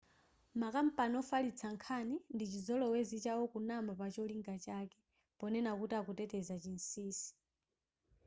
makampani wofalitsa nkhani ndichizolowezi chawo kunama pa cholinga chake ponena kuti akuteteza chinsinsi